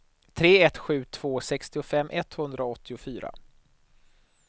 tre ett sju två sextiofem etthundraåttiofyra